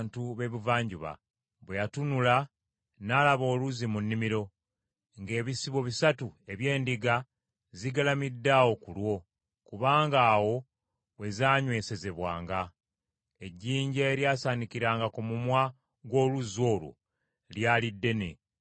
Bwe yatunula n’alaba oluzzi mu nnimiro, ng’ebisibo bisatu eby’endiga zigalamidde awo ku lwo, kubanga awo we zaanywesezebwanga. Ejjinja eryasaanikiranga ku mumwa gw’oluzzi olwo lyali ddene,